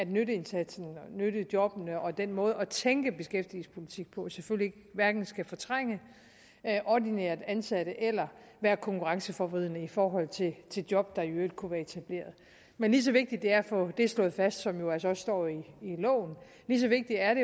nytteindsatsen nyttejobbene og den måde at tænke beskæftigelsespolitik på selvfølgelig hverken skal fortrænge ordinært ansatte eller være konkurrenceforvridende i forhold til job der i øvrigt kunne være etableret men lige så vigtigt det er at få det slået fast som jo altså også står i loven lige så vigtigt er